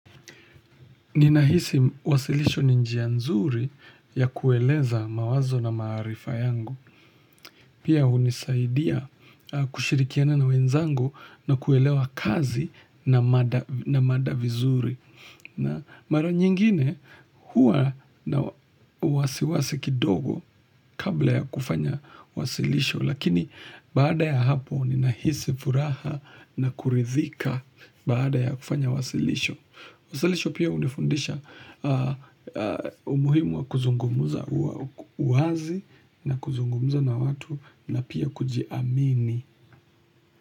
Ninahisi wasilisho ni njia nzuri ya kueleza mawazo na maarifa yangu. Pia hunisaidia kushirikiana na wenzangu na kuelewa kazi na mada vizuri. Na mara nyingine huwa na wasiwasi kidogo kabla ya kufanya wasilisho. Lakini baada ya hapo ninahisi furaha na kuridhika baada ya kufanya wasilisho. Wasalisho pia hunifundisha umuhimu wa kuzungumuza uwazi na kuzungumuza na watu na pia kujiamini.